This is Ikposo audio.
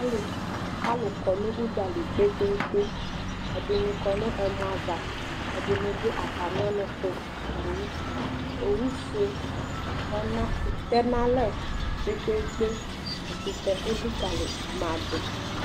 Alʋ kɔ nʋ ʋdzali kpekpeekpe ; ɛdɩnɩ kɔ nʋ ɛmɔ ava , ɛdɩnɩ dʋ atamɩɔnʋtʋ Owu owufue tɛna tɛn'alɛ kpekpeekpe ; ɛkʋtɛ elikǝlimadʋ H